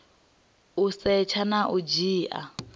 u setsha na u dzhia